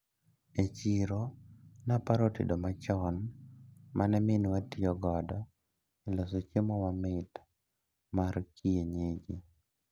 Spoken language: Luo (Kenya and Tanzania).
E chiro naparo tedo machon mane minwa tiyo godo e loso chiemo mamit mar kienyeji.